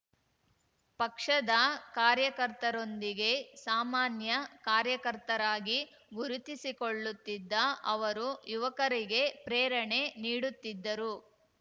ಪಕ್ಷದ ಕಾರ್ಯಕರ್ತರೊಂದಿಗೆ ಸಾಮಾನ್ಯ ಕಾರ್ಯಕರ್ತರಾಗಿ ಗುರುತಿಸಿಕೊಳ್ಳುತ್ತಿದ್ದ ಅವರು ಯುವಕರಿಗೆ ಪ್ರೇರಣೆ ನೀಡುತ್ತಿದ್ದರು